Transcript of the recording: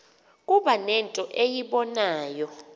kuba nento eyibonayo